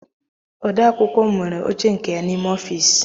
Ode akwụkwọ m nwere oche nke ya n'ime ofiisi m.